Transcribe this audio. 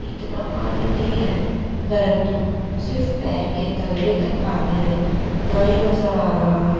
इतना पानी नहीं है परन्तु सिर्फ पैर के तलवे तक पानी आये उतना ही नजर आ रहा है।